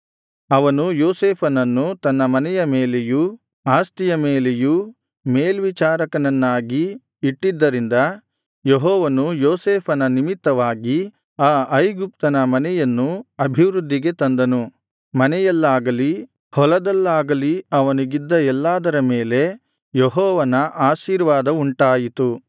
ಅವನು ಯೋಸೇಫನನ್ನು ತನ್ನ ಮನೆಯ ಮೇಲೆಯೂ ಆಸ್ತಿಯ ಮೇಲೆಯೂ ಮೇಲ್ವಿಚಾರಕನನ್ನಾಗಿ ಇಟ್ಟಿದ್ದರಿಂದ ಯೆಹೋವನು ಯೋಸೇಫನ ನಿಮಿತ್ತವಾಗಿ ಆ ಐಗುಪ್ತನ ಮನೆಯನ್ನು ಅಭಿವೃದ್ಧಿಗೆ ತಂದನು ಮನೆಯಲ್ಲಾಗಲಿ ಹೊಲದಲ್ಲಾಗಲಿ ಅವನಿಗಿದ್ದ ಎಲ್ಲಾದರ ಮೇಲೆ ಯೆಹೋವನ ಆಶೀರ್ವಾದವುಂಟಾಯಿತು